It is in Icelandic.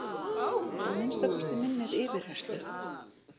Að minnsta kosti minnir yfirheyrslu